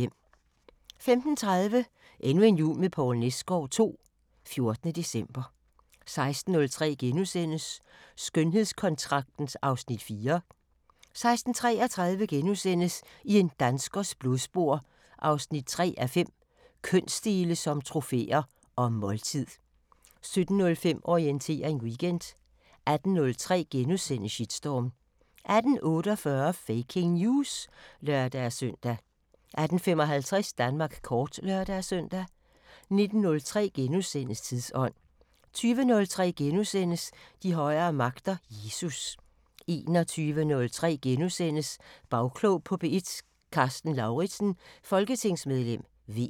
15:30: Endnu en jul med Poul Nesgaard II – 14. december 16:03: Skønhedskontrakten (Afs. 4)* 16:33: I en danskers blodspor 3:5 – Kønsdele som trofæer – og måltid * 17:05: Orientering Weekend 18:03: Shitstorm * 18:48: Faking News! (lør-søn) 18:55: Danmark kort (lør-søn) 19:03: Tidsånd * 20:03: De højere magter: Jesus * 21:03: Bagklog på P1: Karsten Lauridsen, folketingsmedlem V *